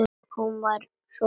Hún var svo falleg.